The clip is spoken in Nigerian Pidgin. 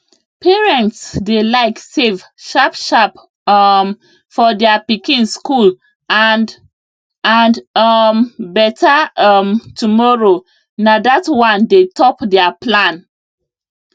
parents dey like save sharpsharp um for their pikin school and and um better um tomorrow na that one dey top their plan